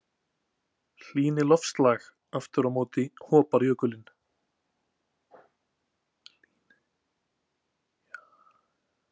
Hlýni loftslag aftur á móti hopar jökullinn.